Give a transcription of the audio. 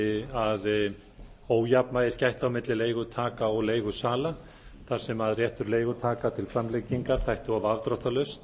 að ójafnvægis gætti á milli leigutaka og leigusala þar sem réttur leigutaka til framlengingar þætti of afdráttarlaus